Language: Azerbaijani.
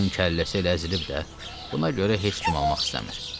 Onun kəlləsi əzilib də, buna görə heç kim almaq istəmir.